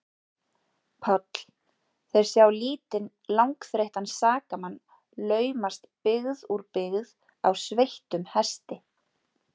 PÁLL: Þeir sjá lítinn, langþreyttan sakamann laumast byggð úr byggð á sveittum hesti.